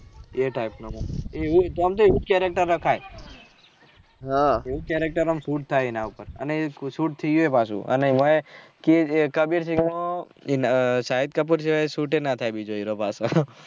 એવું કેમ કે એવુજ character રખાય એવું character ને શૂટ થાય એના ઉપર ને અને શૂટ થય્યીયે પાછું અને એવાય કબીર સિંગ માં એ શાહિદ કપૂર છે એ શુતે નહી થાય બીજો પાછો